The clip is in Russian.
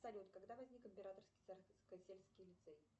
салют когда возник императорский царскосельский лицей